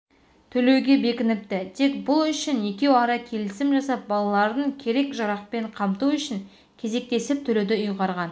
төлеуге бекініпті тек бұл үшін екеуара келісім жасап балаларын керек-жарақпен қамту үшін кезектесіп төлеуді ұйғарған